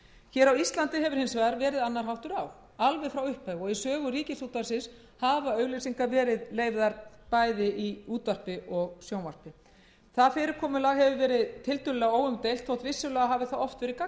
vegar verið annar háttur á alveg frá upphafi og í sögu ríkisútvarpsins hafa auglýsingar verið leyfðar bæði í útvarpi og sjónvarpi það fyrirkomulag hefur verið tiltölulega óumdeilt þótt vissulega hafi það oft verið gagnrýnt við